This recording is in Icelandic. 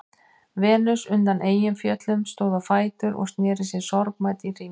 Venus undan Eyjafjöllum stóð á fætur og sneri sér sorgmædd í hring.